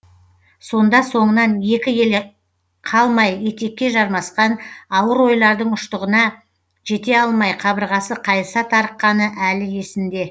сонда соңынан екі елі қалмай етекке жармасқан ауыр ойлардың ұштығына жете алмай қабырғасы қайыса тарыққаны әлі есінде